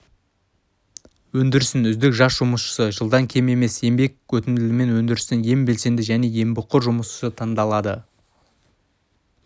өндірістің үздік жас жұмысшысы жылдан кем емес еңбек өтілімімен өндірістің ең белсенді және еңбекқор жұмысшысы таңдалады